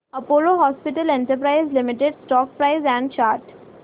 Apollo Hospitals Enterprise Limited stock price and chart